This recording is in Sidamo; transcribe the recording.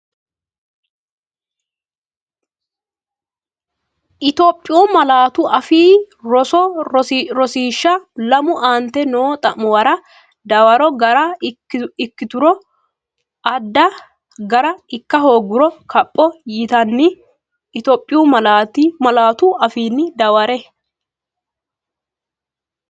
Itophiyu Malaatu Afii Roso Rosiishsha Lame Aante noo xa’muwara dawaro gara ikkituro adda gara ikka hoogguro kapho yitinanni Itophiyu malaatu afiinni dawarre.